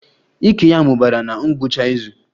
Ike ya mụbara na ngwụcha izu